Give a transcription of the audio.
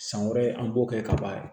San wɛrɛ an b'o kɛ ka ban